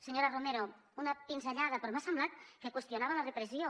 senyora romero una pinzellada però m’ha semblat que qüestionava la repressió